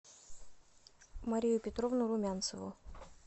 марию петровну румянцеву